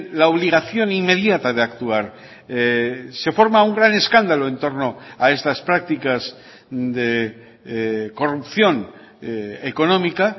la obligación inmediata de actuar se forma un gran escándalo en torno a estas prácticas de corrupción económica